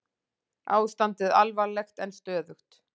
Ástandið alvarlegt en stöðugt